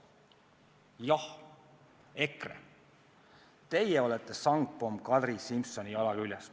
Jah, EKRE, teie olete sangpomm Kadri Simsoni jala küljes.